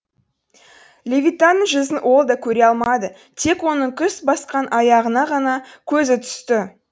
левитанның жүзін ол да көре алмады тек оның күс басқан аяғына ғана көзі түсті